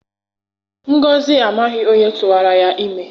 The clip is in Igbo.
Ngọzị amaghị onye tụwara ya ime.